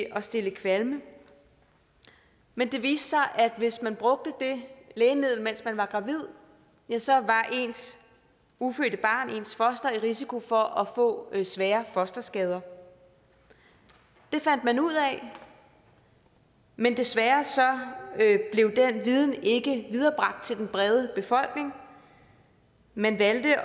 at stille kvalme men det viste sig at hvis man brugte det lægemiddel mens man var gravid ja så var ens ufødte barn ens foster i risiko for at få svære fosterskader det fandt man ud af men desværre blev den viden ikke viderebragt til den brede befolkning man valgte i